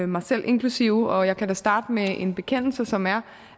mig selv inklusive og jeg kan da starte med en bekendelse som er